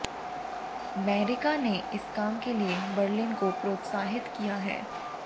Macron ने इस काम के लिए बर्लिन को प्रोत्साहित किया है